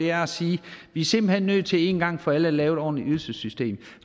er at sige at vi simpelt hen er nødt til en gang for alle at lave et ordentligt ydelsessystem